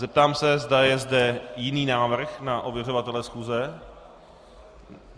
Zeptám se, zda je zde jiný návrh na ověřovatele schůze.